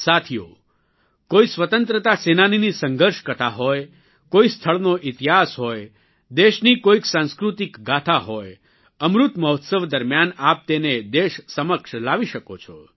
સાથીઓ કોઇ સ્વતંત્રતા સેનાનીની સંઘર્ષ કથા હોય કોઇ સ્થળનો ઇતિહાસ હોય દેશની કોઇક સંસ્કૃતિક ગાથા હોય અમૃત મહોત્સવ દરમ્યાન આપ તેને દેશ સમક્ષ લાવી શકો છો